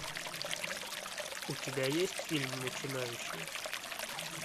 у тебя есть фильм начинающие